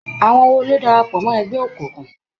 Àwọn wo ló darapọ̀ mọ́ ẹgbẹ́ òkùnkùn?